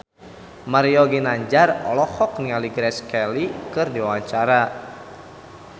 Mario Ginanjar olohok ningali Grace Kelly keur diwawancara